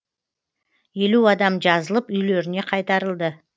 елу адам жазылып үйлеріне қайтарылды